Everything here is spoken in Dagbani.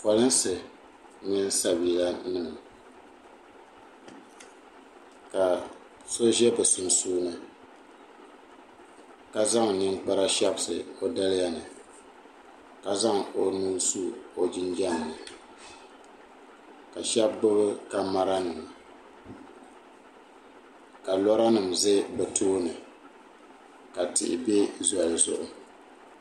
polinsi mini sabiilanim ka so ʒe bɛ sunsuuni ka zaŋ ninkpara shɛbisi o daliya ni ka zaŋ o nuu su o jinjam ni ka shɛba gbubi kamara nima ka lɔranima ʒe bɛ tooni ka tihi be zɔli zuɣu.